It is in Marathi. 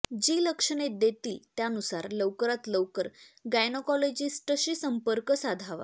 जी लक्षणे देतील त्यानुसार लवकरात लवकर गायनेकोलोजिस्टशी संपर्क साधावा